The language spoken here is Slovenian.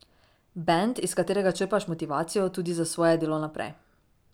Bend, iz katerega črpaš motivacijo tudi za svoje delo naprej.